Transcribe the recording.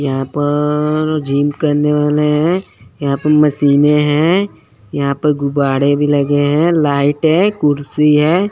यहां पर जिम करने वाले हैं यहां पर मशीने हैं यहां पर गुब्बारे भी लगे हैं लाइट है कुर्सी है।